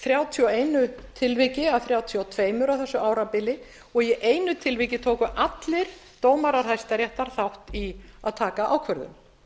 þrjátíu og einu tilviki af þrjátíu og tvö á þessu árabili og í einu tilviki tóku allir dómarar hæstaréttar þátt í að taka ákvörðun